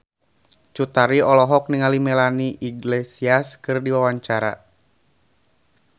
Cut Tari olohok ningali Melanie Iglesias keur diwawancara